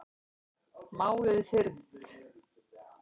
Málið er fyrnt.